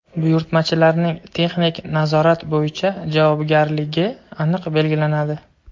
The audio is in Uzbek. buyurtmachilarning texnik nazorat bo‘yicha javobgarligi aniq belgilanadi.